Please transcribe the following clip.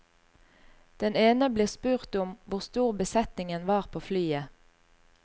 Den ene blir spurt om hvor stor besetningen var på flyet.